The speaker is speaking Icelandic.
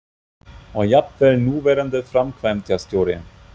Og jafnvel núverandi framkvæmdastjóri?